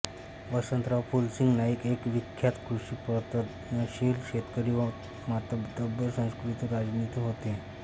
वसंतराव फुलसिंग नाईक एक विख्यात कृषितज्ञप्रगतशील शेतकरी व मातब्बर सुसंस्कृत राजनितीज्ञ होते